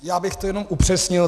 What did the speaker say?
Já bych to jenom upřesnil.